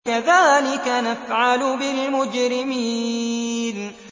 كَذَٰلِكَ نَفْعَلُ بِالْمُجْرِمِينَ